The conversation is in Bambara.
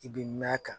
I bɛ mɛn a kan